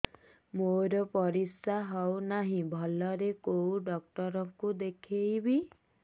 ମୋର ପରିଶ୍ରା ହଉନାହିଁ ଭଲରେ କୋଉ ଡକ୍ଟର କୁ ଦେଖେଇବି